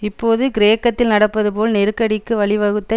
இப்போது கிரேக்கத்தில் நடப்பது போல் நெருக்கடிக்கு வழி வகுத்த